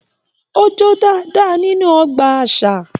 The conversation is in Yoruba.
O jo dáadáa nínú ọgbà àṣà.